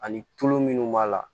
Ani tulu munnu b'a la